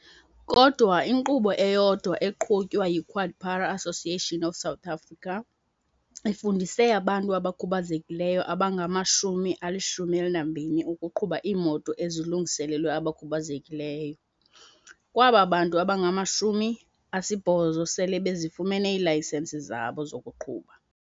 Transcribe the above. Kodwa inkqubo eyodwa eqhutywa yi-QuadPara Association of South Africa ifundise abantu abakhubazekileyo abangama-120 ukuqhuba iimoto ezilungiselelwe abantu abakhubazekileyo, kwaba bantu abangama-80 sele bezifumene iilayisenisi zabo zokuqhuba.